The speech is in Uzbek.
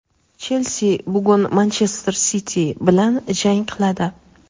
"Chelsi" bugun "Manchester Siti" bilan jang qiladi.